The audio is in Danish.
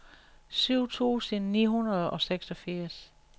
syv tusind ni hundrede og seksogfirs